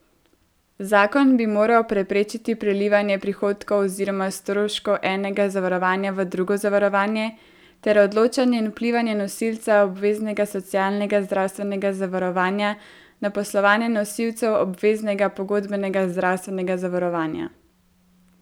Zakon bi moral preprečiti prelivanje prihodkov oziroma stroškov enega zavarovanja v drugo zavarovanje ter odločanje in vplivanje nosilca obveznega socialnega zdravstvenega zavarovanja na poslovanje nosilcev obveznega pogodbenega zdravstvenega zavarovanja.